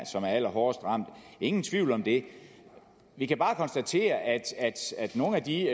som er allerhårdest ramt ingen tvivl om det vi kan bare konstatere at nogle af de